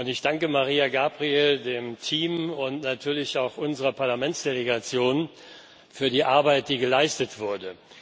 Ich danke Mariya Gabriel, dem Team und natürlich auch unserer Parlamentsdelegation für die Arbeit, die geleistet wurde.